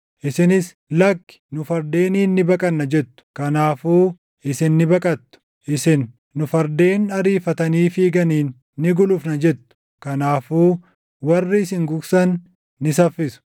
Isinis, ‘Lakki, nu fardeeniin ni baqanna’ jettu. Kanaafuu isin ni baqattu! Isin, ‘Nu fardeen ariifatanii fiiganiin ni gulufna’ jettu. Kanaafuu warri isin gugsan ni saffisu!